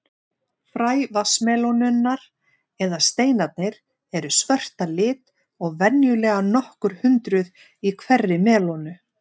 Fræ vatnsmelónunnar, eða steinarnir, eru svört að lit og venjulega nokkur hundruð í hverri melónu.